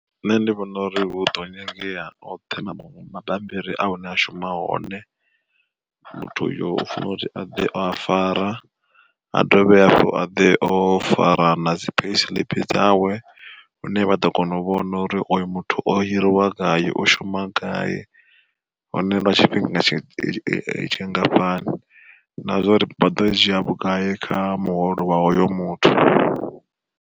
Nṋe ndi vhona uri hu ḓo nyangea oṱhe na mabambiri hune a shuma hone, muthu uyo u fanela uri aḓe o a fara, a dovhe hafhu aḓe o fara nadzi payi siiḽipi dzawe hune vha ḓo kona u vhona uri oyo muthu o hiriwa gai, o shuma gai, hone lwa tshifhinga tshingafhani, na zwa uri vha ḓo dzhia vhugai kha muholo wa hoyo muthu.